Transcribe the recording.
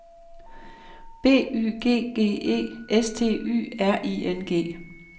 B Y G G E S T Y R I N G